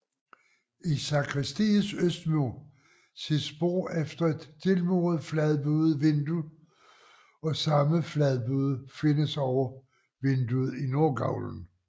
I sakristiets østmur ses spor efter et tilmuret fladbuet vindue og samme fladbue findes over vinduet i nordgavlen